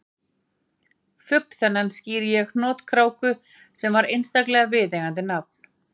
Fugl þennan skírði ég hnotkráku sem var einstaklega viðeigandi nafn